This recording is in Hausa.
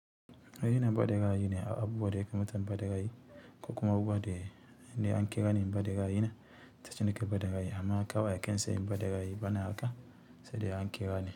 Raina faɗin ra'ayine a abubuwa da yake matan banda ra'ayi ko kuma abubuwa da, da an kira ne bada ra'ayi na, ta cike da bada ra'ayina akwai hakan sai bada ra'ayi bani haka, sai dai an kira ne.